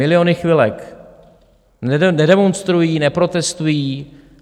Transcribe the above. Miliony chvilek nedemonstrují, neprotestují.